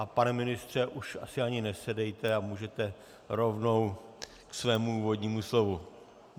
A pane ministře, už asi ani nesedejte a můžete rovnou ke svému úvodnímu slovu.